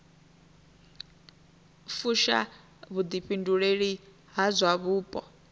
fusha vhuḓifhinduleli ha zwa vhupo